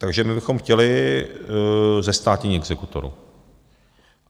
Takže my bychom chtěli zestátnění exekutorů.